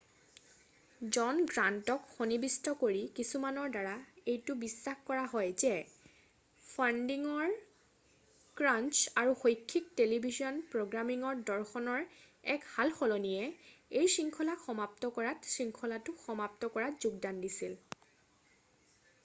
জন গ্ৰান্টক সন্নিৱিষ্ট কৰি কিছুমানৰ দ্বাৰা এইটো বিশ্বাস কৰা হয় যে ফাণ্ডিঙৰ ক্ৰাঞ্চ আৰু শৈক্ষিক টেলিভিছন প্ৰ'গ্ৰামিঙৰ দৰ্শনৰ এক সাল-সলনিয়ে এই শৃঙ্খলাক সমাপ্ত কৰাত শৃঙ্খলাটো সমাপ্ত কৰাত যোগদান দিছিল৷